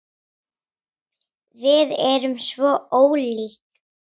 Við erum svo ólík.